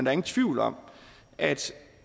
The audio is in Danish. er ingen tvivl om at